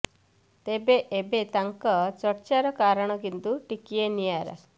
ତେବେ ଏବେ ତାଙ୍କ ଚର୍ଚ୍ଚାର କାରଣ କିନ୍ତୁ ଟିକିଏ ନିଆରା